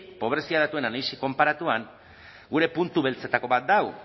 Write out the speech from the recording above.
pobrezia datuen analisi konparatuan gure puntu beltzetako bat da hau